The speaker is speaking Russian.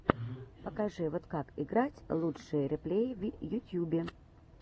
покажи вот как играть лучшие реплеи в ютьюбе